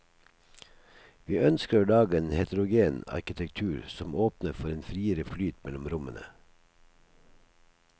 Vi ønsker å lage en heterogen arkitektur som åpner for en friere flyt mellom rommene.